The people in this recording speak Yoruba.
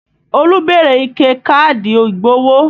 Olú béèrè ike káàdì ìgbowó